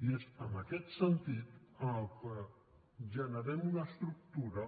i és en aquest sentit en què generem una estructura